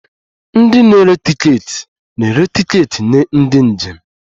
Ndị na-ere tiketi na-ere tiketi nye ndị njem